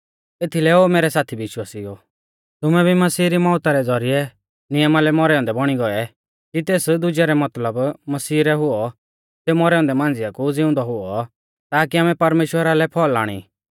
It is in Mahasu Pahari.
एथीलै ओ मैरै साथी विश्वासिउओ तुमै भी मसीह री मौउता रै ज़ौरिऐ नियमा लै मौरै औन्दै बौणी गौऐ कि तेस दुजै रै मतलब मसीह रै हुऔ सेऊ मौरै औन्दै मांझ़िऐ कु ज़िउंदौ हुऔ ताकि आमै परमेश्‍वरा लै फल़ आणी